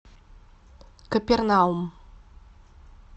капернаум